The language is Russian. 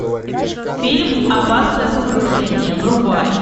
фильм опасное погружение врубай